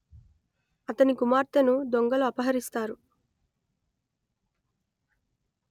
అతని కుమార్తెను దొంగలు అపహరిస్తారు